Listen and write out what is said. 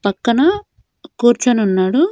పక్కన కూర్చొనున్నాడు.